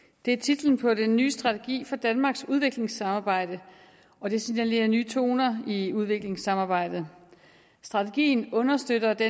er titlen på den nye strategi for danmarks udviklingssamarbejde og den signalerer nye toner i udviklingssamarbejdet strategien understøtter det